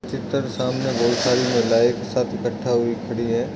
चित्र सामने बहुत सारी महिलाएं एक साथ एकठा हुई खड़ी हैं।